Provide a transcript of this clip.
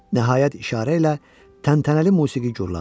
Nəhayət işarə ilə təntənəli musiqi gurladı.